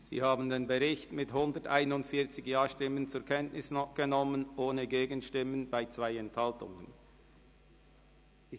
Sie haben den Bericht mit 141 Ja-Stimmen ohne Gegenstimme bei 2 Enthaltungen zur Kenntnis genommen.